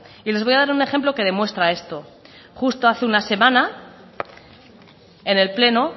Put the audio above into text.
y les voy a dar un ejemplo que demuestra esto justo hace una semana en el pleno